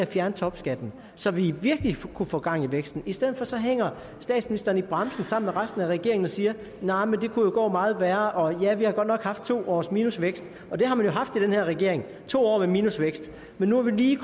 fjerne topskatten så vi virkelig kunne få gang i væksten i stedet for hænger statsministeren i bremsen sammen med resten af regeringen og siger nej men det kunne jo gå meget værre og ja vi har godt nok haft to års minusvækst og det har man jo haft i den her regering to år med minusvækst men nu er vi lige